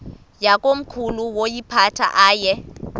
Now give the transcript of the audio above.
yakomkhulu woyiphatha aye